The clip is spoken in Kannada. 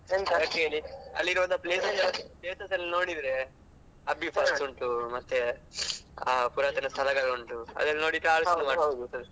ಯಾಕ್ ಹೇಳಿ ಅಲ್ಲಿಗೆ ಹೋದಾ places ಎಲ್ಲ ನೋಡಿದ್ರೆ ಅಬ್ಬಿ falls ಉಂಟು ಮತ್ತೆ ಪುರಾತನ ಸ್ಥಳಗಳು ಉಂಟು ಅದೆಲ್ಲ ನೋಡಿದ್ರೆ.